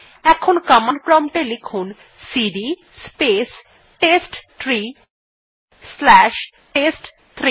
এখন command prompt এ লিখুন CD space test tree slash test three